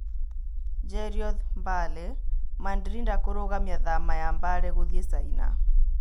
Jerioth Mbale: Mandrinda kũrũgamia thama ya Mbale gũthiĩ Chaina